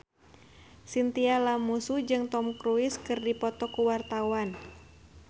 Chintya Lamusu jeung Tom Cruise keur dipoto ku wartawan